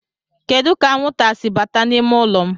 Kedu ka anwụnta si bata n'ime ụlọ m?